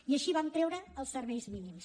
i així vam treure els serveis mínims